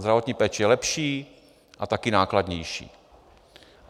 Zdravotní péče je lepší a taky nákladnější.